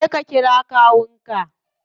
Je ka kira kawun ka.